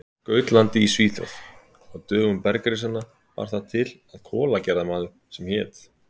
Gautlandi í Svíþjóð: Á dögum bergrisanna bar það til að kolagerðarmaður sem hét